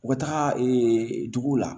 U bɛ taga dugu la